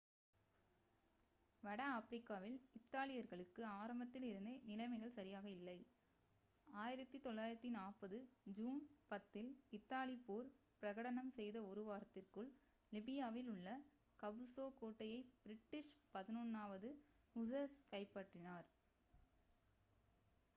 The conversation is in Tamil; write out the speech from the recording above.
வட ஆப்பிரிக்காவில் இத்தாலியர்களுக்கு ஆரம்பத்தில் இருந்தே நிலைமைகள் சரியாக இல்லை 1940 ஜூன் 10 இல் இத்தாலி போர் பிரகடனம் செய்த ஒரு வாரத்திற்குள் லிபியாவில் உள்ள கபுசோ கோட்டையை பிரிட்டிஷ் 11 வது ஹுஸர்ஸ் கைப்பற்றினார்